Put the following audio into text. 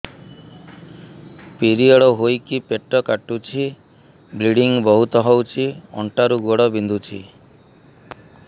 period ହୋଇକି ପେଟ କାଟୁଛି ବ୍ଲିଡ଼ିଙ୍ଗ ବହୁତ ହଉଚି ଅଣ୍ଟା ରୁ ଗୋଡ ବିନ୍ଧୁଛି